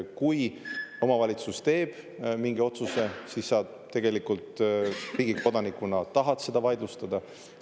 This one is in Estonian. Kui omavalitsus teeb mingi otsuse, siis sa tegelikult riigi kodanikuna seda vaidlustada, kui tahad.